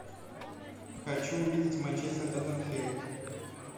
хочу увидеть манчестер тоттенхэм